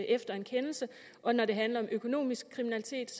efter en kendelse og når det handler om økonomisk kriminalitet